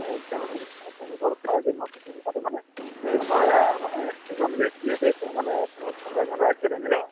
তেঁওলোক তেঁওলোকৰ কথাটো কৈছো মানে , আমাৰ মানে এজন ব্যক্তি আছে তেওঁ মানে তেঁওলোকৰ কোনোবা এখন ৰাজ্যৰ MLAInitial হয়